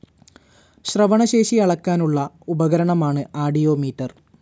ശ്രവണശേഷി അളക്കാനുള്ള ഉപകരണമാണ് ആഡിയോമീറ്റർ.